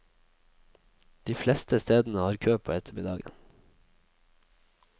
De fleste stedene har kø på ettermiddagen.